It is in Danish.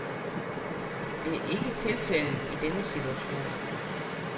Det er ikke tilfældet i denne situation.